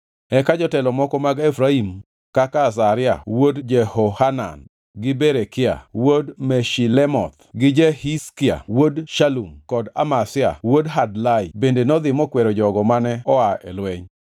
Eka jotelo moko mag Efraim kaka Azaria wuod Jehohanan gi Berekia wuod Meshilemoth gi Jehizkia wuod Shalum kod Amasa wuod Hadlai bende nodhi mokwero jogo mane oa e lweny.